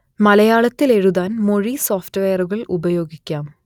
മലയാളത്തിൽ എഴുതാൻ മൊഴി സോഫ്റ്റ്‌വെയറുകൾ ഉപയോഗിക്കാം